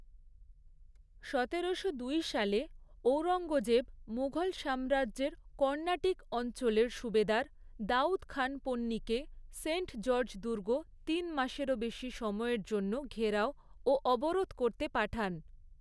সতেরোশো দুই সালে ঔরঙ্গজেব মুঘল সাম্রাজ্যের কর্ণাটিক অঞ্চলের সুবেদার দাউদ খান পন্নীকে সেন্ট জর্জ দুর্গ তিন মাসেরও বেশি সময়ের জন্য ঘেরাও ও অবরোধ করতে পাঠান।